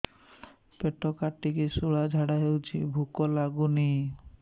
ପେଟ କାଟିକି ଶୂଳା ଝାଡ଼ା ହଉଚି ଭୁକ ଲାଗୁନି